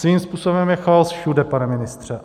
Svým způsobem je chaos všude, pane ministře.